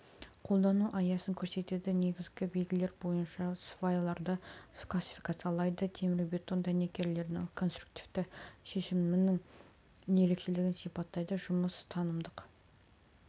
қолдану аясын көрсетеді негізгі белгілері бойынша свайларды классификациялайды темірбетон дәнекерлерінің конструктивтік шешімінің ерекшелігін сипаттайды жұмыс танымдық